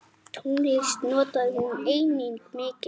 Tónlist notaði hún einnig mikið.